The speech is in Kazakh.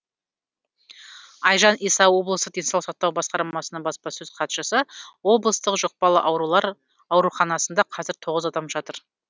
айжан иса облыстық денсаулық сақтау басқармасының баспасөз хатшысы облыстық жұқпалы аурулар ауруханасында қазір тоғыз адам жатыр